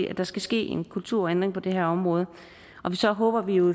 at der skal ske en kulturændring på det her område og så håber vi jo